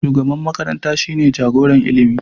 Shugaban makaranta shine jagoran ilimi.